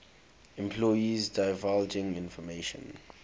employees divulging information